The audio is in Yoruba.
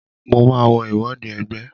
Mo màá lo ìwọde ẹgbẹ́.